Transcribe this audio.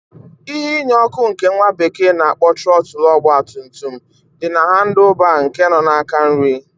Ihe inye ọkụ nke nwa bekee na-akpọ Trọtl ogba tum tum di na handl baa nke nọ n'aka nrị.